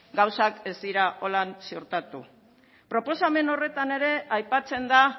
gauzak ez dira horrela suertatu proposamen horretan ere aipatzen da